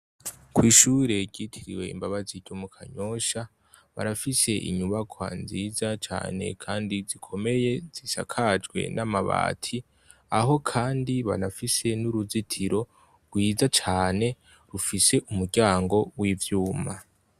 Kw'ishure ryitiriwe "Imbabazi" ryo mu Kanyosha barafise inyubakwa nziza cane kandi zikomeye zisakajwe n'amabati, aho kandi banafise n'uruzitiro rwiza cane rufise umuryango w'ivyuma.